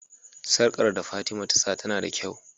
sarƙar da fatima ta sa tAna da kyau